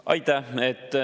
Aitäh!